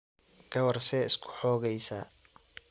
Gawar see iskuxogeysaa.